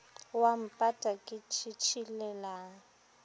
o a mpata ke tšhitšhilelang